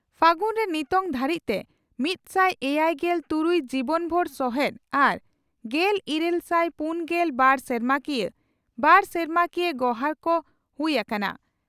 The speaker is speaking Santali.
ᱯᱷᱟᱹᱜᱩᱱᱨᱮ ᱱᱤᱛᱚᱝ ᱫᱷᱟᱹᱨᱤᱡᱛᱮ ᱢᱤᱛᱥᱟᱭ ᱮᱭᱟᱭᱜᱮᱞ ᱛᱩᱨᱩᱭ ᱡᱤᱵᱚᱱᱵᱷᱩᱨ ᱥᱚᱦᱮᱛ ᱟᱨ ᱜᱮᱞ ᱤᱨᱟᱹᱞ ᱥᱟᱭ ᱯᱩᱱᱜᱮᱞ ᱵᱟᱨ ᱥᱮᱨᱢᱟᱠᱤᱭᱟᱹ/ᱵᱟᱨ ᱥᱮᱨᱢᱟᱠᱤᱭᱟᱹ ᱜᱚᱨᱦᱟᱠ ᱠᱚ ᱦᱩᱭ ᱟᱠᱟᱱᱟ ᱾